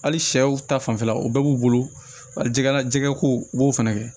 Hali sɛw ta fanfɛla o bɛɛ b'u bolo wali jɛgɛ jɛgɛko u b'o fɛnɛ kɛ